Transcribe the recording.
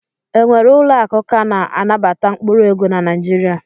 E nwere ụlọakụ ka na-anabata mkpụrụ ego na Naijiria?